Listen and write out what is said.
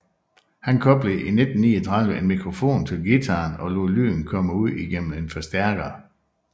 Han koblede i 1939 en mikrofon til guitaren og lod lyden komme ud igennem en forstærker